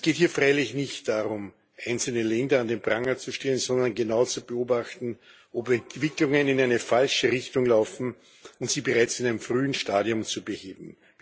Es geht hier freilich nicht darum, einzelne Länder an den Pranger zu stellen, sondern genau zu beobachten, ob Entwicklungen in eine falsche Richtung laufen, und sie bereits in einem frühen Stadium zu beheben.